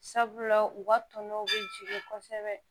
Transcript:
Sabula u ka tɔnɔ bɛ jigin kosɛbɛ